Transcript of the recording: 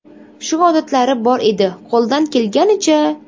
Shu odatlari bor edi, qo‘ldan kelganicha.